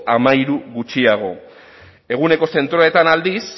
hamairu gutxiago eguneko zentroetan aldiz